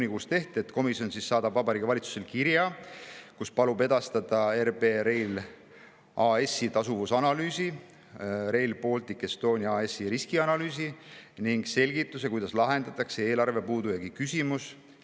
komisjon saadab Vabariigi Valitsusele kirja, kus palub edastada RB Rail AS‑i tasuvuse analüüsi, Rail Baltic Estonia AS‑i riskide analüüsi ning selgituse, kuidas lahendatakse eelarvepuudujäägi küsimus.